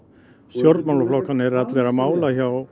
stjórnmálaflokkarnir eru allir á mála hjá